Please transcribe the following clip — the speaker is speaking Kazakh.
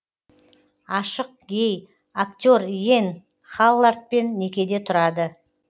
ашық гей актер йен халлардпен некеде тұрады